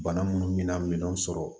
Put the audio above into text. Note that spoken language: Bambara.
Bana munnu mina minɛnw sɔrɔ